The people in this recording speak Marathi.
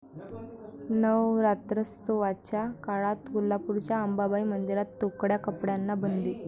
नवरात्रोत्सवाच्या काळात कोल्हापूरच्या अंबाबाई मंदिरात तोकड्या कपड्यांना बंदी